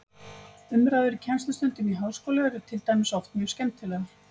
Umræður í kennslustundum í háskóla eru til dæmis oft mjög skemmtilegar.